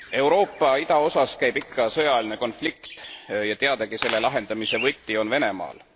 Euroopa idaosas käib ikka sõjaline konflikt ja teadagi on selle lahendamise võti Venemaal.